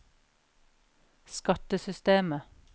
skattesystemet